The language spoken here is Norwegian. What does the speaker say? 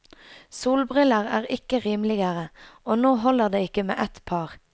Solbriller er ikke rimeligere, og nå holder det ikke med ett par.